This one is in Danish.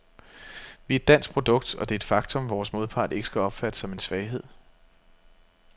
Vi er et dansk produkt, og det er et faktum, vores modpart ikke skal opfatte som en svaghed.